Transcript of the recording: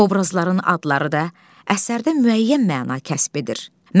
Obrazların adları da əsərdə müəyyən məna kəsb edir.